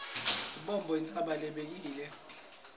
lubombo intsaba lebekile